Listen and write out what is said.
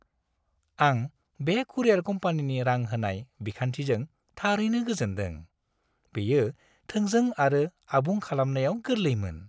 आं बे कुरियार कम्पानिनि रां-होनाय बिखान्थिजों थारैनो गोजोनदों। बेयो थोंजों आरो आबुं खालामनायाव गोरलैमोन।